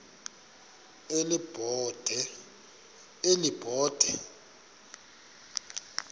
elibode